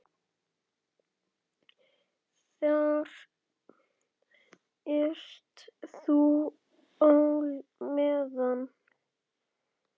Þar ert þú á meðal.